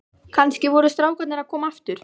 Kannski voru strákarnir að koma aftur.